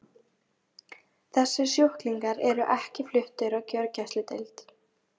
Þessir sjúklingar eru ekki fluttir á gjörgæsludeild.